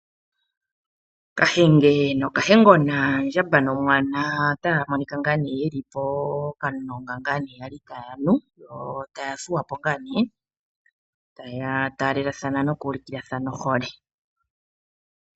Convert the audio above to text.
Kahenge nokahengona, ondjamba nomwana otaya monika ye li pokamulonga ya li taya nu. Yo taya thuwa po ya taalelathana, taya ulukilathana ohole.